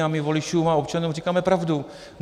A my voličům a občanům říkáme pravdu.